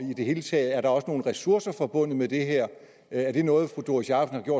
i det hele taget også nogle ressourcer forbundet med det her er det noget fru doris jakobsen